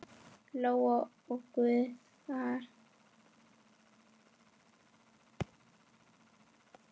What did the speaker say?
Lóa og Gunnar.